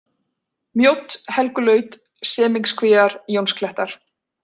Mjódd, Helgulaut, Semingskvíar, Jónsklettar